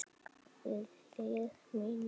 Við hlið mína.